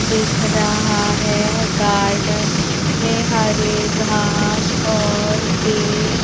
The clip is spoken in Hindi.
दिख रहा है गार्डन में हरे घास और पेड़--